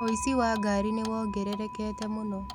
ũici wa ngari nĩwongererekete mũno